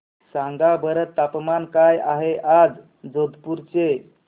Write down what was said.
सांगा बरं तापमान काय आहे आज जोधपुर चे